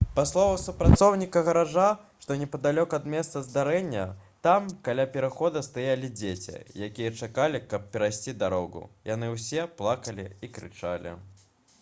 па словах супрацоўніка гаража што непадалёк ад месца здарэння «там каля перахода стаялі дзеці якія чакалі каб перайсці дарогу — яны ўсе плакалі і крычалі»